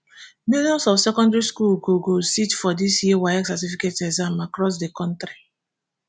millions of secondary students go go sit for dis year waec certificate exam across di kontri